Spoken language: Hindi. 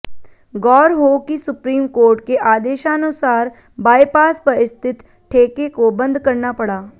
गौर हो कि सुप्रीम कोर्ट के आदेशानुसार बाइपास पर स्थित ठेके को बंद करना पड़ा